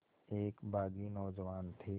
एक बाग़ी नौजवान थे